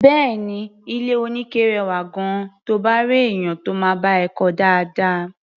Bẹ́ẹ̀ni, ilé-oníke rẹwà gan-an, to bá réèyàn tó máa bá ẹ kọ́ ọ dáadáa.